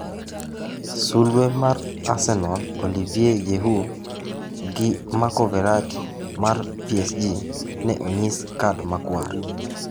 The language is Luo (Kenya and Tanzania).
Sulwe mar Arsenal Olivier Giroud gi Marco Verratti mar PSG ne onyis kad makwar.